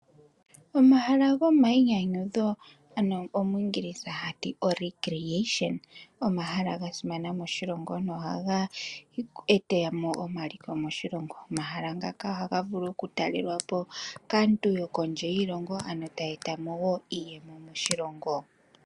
Omahala gomayinyanyudho ogasimana noonkondo moshilongo shetu , oshoka ohageeta omaliko moshilongo shetu. Omahala ngaka ohaga vulu okutalelwapo kaantu yokondje yiilongo mbono hayeetamo iiyemo moshilongo.